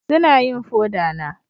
Suna yin foda na